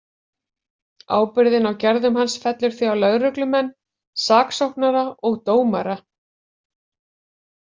Ábyrgðin á gerðum hans fellur því á lögreglumenn, saksóknara og dómara.